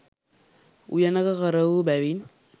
උයනක කරවූ බැවින්